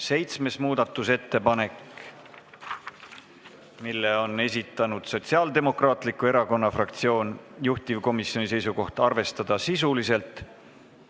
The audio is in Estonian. Seitsmenda muudatusettepaneku on esitanud Sotsiaaldemokraatliku Erakonna fraktsioon, juhtivkomisjoni seisukoht on arvestada seda sisuliselt.